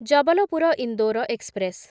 Jabalpur Indore express